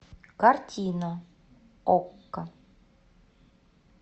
картина окко